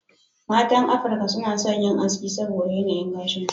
Matan Afirka suna yin aski saboda yanayin gashin su.